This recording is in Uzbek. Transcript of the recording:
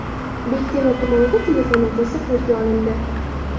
Bektemir tumanida telefon o‘g‘risi qo‘lga olindi.